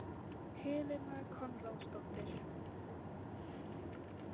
Helena Konráðsdóttir